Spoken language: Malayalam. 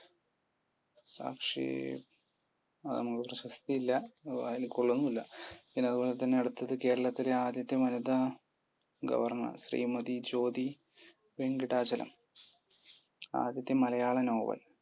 സംക്ഷേപം. അത് നമുക്ക് പ്രശസ്തിയില്ല. വായിൽ കൊള്ളുന്നുമില്ല. അതുപോലെത്തന്നെ കേരളത്തിലെ ആദ്യത്തെ governor ശ്രീമതി. ജ്യോതി വെങ്കിടാചലം. ആദ്യത്തെ മലയാള novel